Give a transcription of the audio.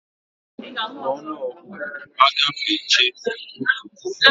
N'ọnụọgụgụ, agụfechaa otu puku, narị itoolu na iri na otu, a gụọ otu puku, narị itoolu na iri na abụọ